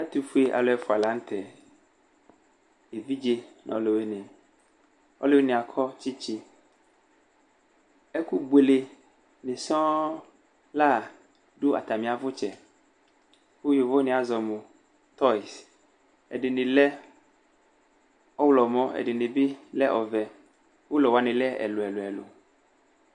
Ɛtʋfuealʋ ɛfʋa la nʋ tɛ: evidze nʋ ɔlʋwɩnɩ Ɔlʋwɩnɩ yɛ akɔ tsɩtsɩ Ɛkʋbʋele nɩ sɔŋ la dʋ atamɩ avʋtsɛ kʋ yovo wanɩ azɔ mʋ tɔyz Ɛdɩnɩ lɛ ɔɣlɔmɔ, ɛdɩnɩ bɩ lɛ ɔvɛ Ʋlɔ wanɩ lɛ ɛlʋ ɛlʋ ɛlʋ